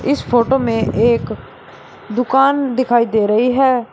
इस फोटो में एक दुकान दिखाई दे रही है।